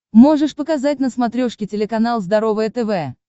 можешь показать на смотрешке телеканал здоровое тв